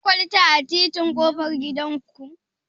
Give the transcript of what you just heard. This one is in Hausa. Akwai kwalta a titin ƙofar gidan ku?